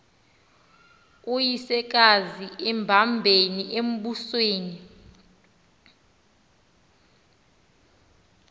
uyisekazi embambele embusweni